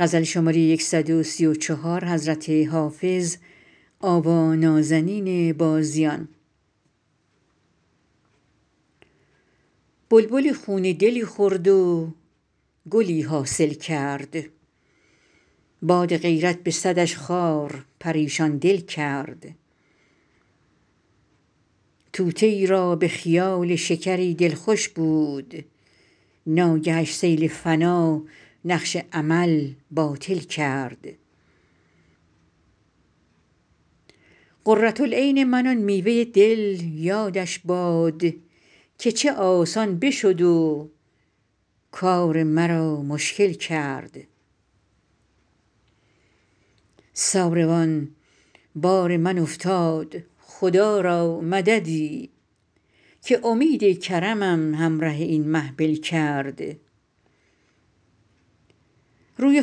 بلبلی خون دلی خورد و گلی حاصل کرد باد غیرت به صدش خار پریشان دل کرد طوطیی را به خیال شکری دل خوش بود ناگهش سیل فنا نقش امل باطل کرد قرة العین من آن میوه دل یادش باد که چه آسان بشد و کار مرا مشکل کرد ساروان بار من افتاد خدا را مددی که امید کرمم همره این محمل کرد روی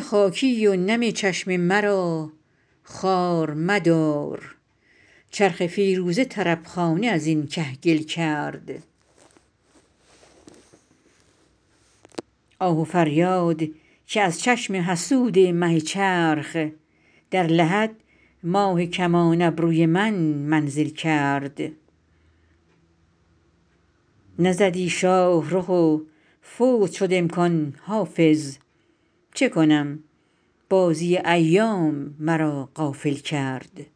خاکی و نم چشم مرا خوار مدار چرخ فیروزه طرب خانه از این کهگل کرد آه و فریاد که از چشم حسود مه چرخ در لحد ماه کمان ابروی من منزل کرد نزدی شاه رخ و فوت شد امکان حافظ چه کنم بازی ایام مرا غافل کرد